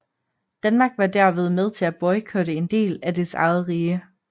Danmark var derved med til at boykotte en del af dets eget rige